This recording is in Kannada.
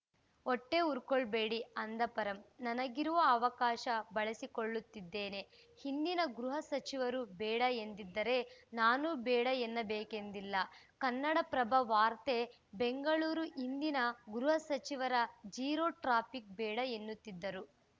ಹೊಟ್ಟೆ ಉರ್ಕೋಳ್ಬೇಡಿ ಅಂದ ಪರಂ ನನಗಿರುವ ಅವಕಾಶ ಬಳಸಿಕೊಳ್ಳುತ್ತಿದ್ದೇನೆ ಹಿಂದಿನ ಗೃಹ ಸಚಿವರು ಬೇಡ ಎಂದಿದ್ದರೆ ನಾನೂ ಬೇಡ ಎನ್ನಬೇಕೆಂದಿಲ್ಲ ಕನ್ನಡಪ್ರಭ ವಾರ್ತೆ ಬೆಂಗಳೂರು ಹಿಂದಿನ ಗೃಹ ಸಚಿವರು ಜೀರೋ ಟ್ರಾಫಿಕ್‌ ಬೇಡ ಎನ್ನುತ್ತಿದ್ದರು